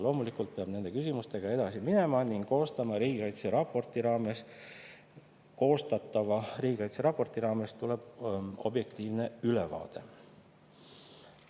Loomulikult peab nende küsimustega edasi minema ning koostatava riigikaitseraporti raames tulebki objektiivne ülevaade.